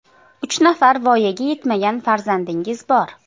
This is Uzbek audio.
Uch nafar voyaga yetmagan farzandingiz bor.